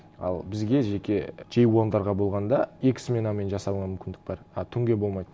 ал бізге жеке джей уандарға болғанда екі сменамен жасауға мүмкіндік бар а түнге болмайды